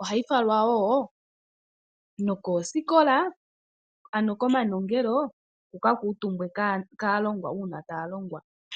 ohayi falwa woo nokoosikola ano komanongelo yika kuutumbwe kaalongwa uuna taya longwa.